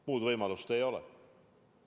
Muud võimalust ei ole.